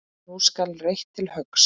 Nú skal reitt til höggs.